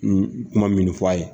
N kuma minnu fɔ a ye